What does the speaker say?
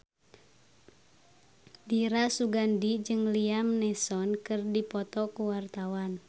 Dira Sugandi jeung Liam Neeson keur dipoto ku wartawan